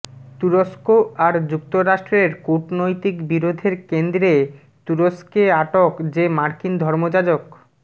তুরস্ক আর যুক্তরাষ্ট্রের কূটনৈতিক বিরোধের কেন্দ্রে তুরস্কে আটক যে মার্কিন ধর্মযাজক